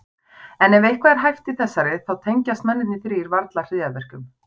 En ef eitthvað er hæft í þessari, þá tengjast mennirnir þrír varla hryðjuverkum.